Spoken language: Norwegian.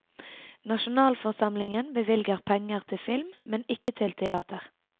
Nasjonalforsamlingen bevilger penger til film, men ikke til teater.